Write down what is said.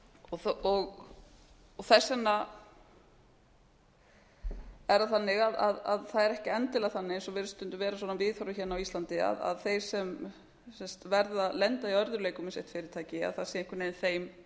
og þess vegna er það þannig að það er ekki endilega þannig eins og virðist stundum vera viðhorfið hérna á íslandi að þeir sem lenda í örðugleikum með sitt fyrirtæki að það sé einhvern veginn þeim